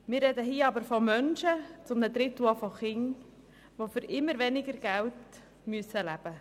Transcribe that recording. Hier reden wir von Menschen, zu einem Drittel auch von Kindern, die von immer weniger Geld leben müssen.